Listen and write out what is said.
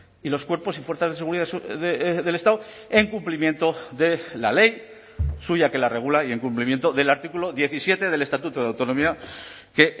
y los cuerpos y fuerzas de seguridad del estado en cumplimiento de la ley suya que la regula y en cumplimiento del artículo diecisiete del estatuto de autonomía que